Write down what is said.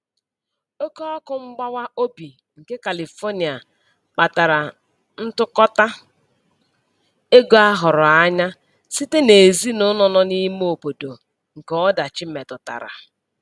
Oke ọkụ mgbawa obi nke Califonia kpatara ntụkọta ego a hụrụ anya site n'ezinụlọ nọ n'lme obodo nke ọdachi metụtara.